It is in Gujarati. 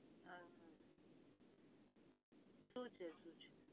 આ શું છે શું છે